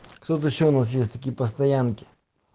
кто-то ещё у нас есть такие постоянки